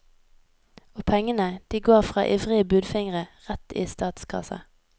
Og pengene, de går fra ivrige budfingre, rett i statskassa.